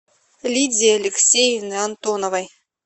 лидии алексеевны антоновой